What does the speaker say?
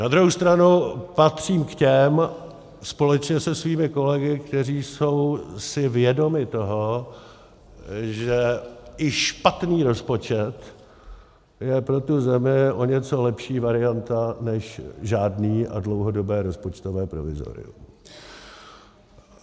Na druhou stranu patřím k těm, společně se svými kolegy, kteří jsou si vědomi toho, že i špatný rozpočet je pro tu zemi o něco lepší varianta než žádný a dlouhodobé rozpočtové provizorium.